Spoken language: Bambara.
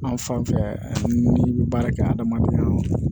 An fan fɛ n'i bɛ baara kɛ adamaden nɔnɔ